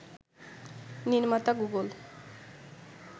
নির্মাতা গুগল